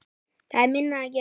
Það er minna að gera.